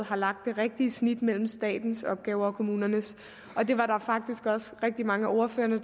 har lagt det rigtige snit mellem statens opgaver og kommunernes og det var der faktisk også rigtig mange af ordførerne